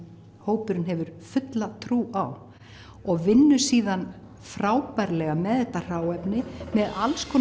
hópurinn hefur fulla trú á og vinnur síðan frábærlega með þetta hráefni með